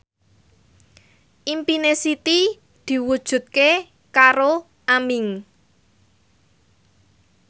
impine Siti diwujudke karo Aming